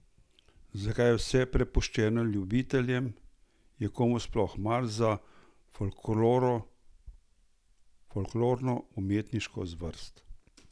Zakaj je vse prepuščeno ljubiteljem, je komu sploh mar za folklorno umetniško zvrst?